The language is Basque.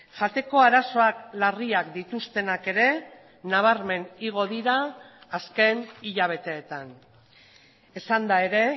jateko arazoak larriak dituztenak ere nabarmen igo dira azken hilabeteetan esanda ere